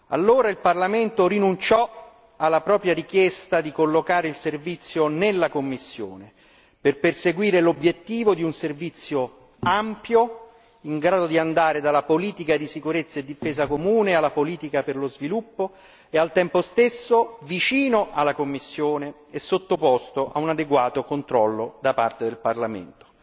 Allora il Parlamento rinunciò alla propria richiesta di collocare il servizio nella Commissione per perseguire l'obiettivo di un servizio ampio, in grado di andare dalla politica di sicurezza e difesa comune alla politica per lo sviluppo e al tempo stesso vicino alla Commissione e sottoposto ad un adeguato controllo da parte del Parlamento.